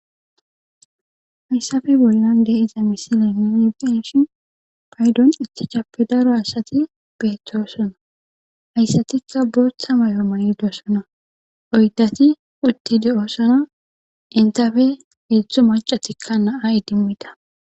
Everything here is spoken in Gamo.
Hayssafe bollan de7iza misile nu be7ishin paydon ichchachappe daro asathi beeththoosona; hayssathikka booththa may7o mayidosona; oyddathi uththi de7oosona; inththafe heedzdzu maccathikka na7a idimmida.